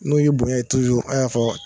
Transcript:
N'o ye bonya ye a y'a fɔ